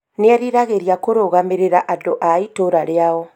Nĩeriragĩria kũrũgamĩrĩra andũ a itũra rĩao